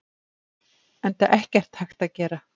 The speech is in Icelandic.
Enda ekkert hægt að gera.